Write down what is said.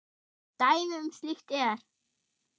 Dæmi um slíkt er